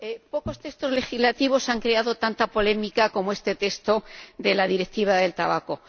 Pocos textos legislativos han creado tanta polémica como este texto de la Directiva del tabaco.